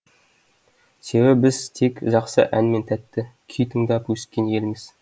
себебі біз тек жақсы ән мен тәтті күй тыңдап өскен елміз